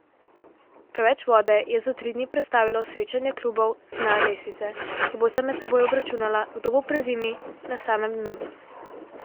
Preveč vode je za tri dni prestavilo srečanje klubov z dna lestvice, ki bosta med seboj obračunala, kdo bo prezimil na samem dnu.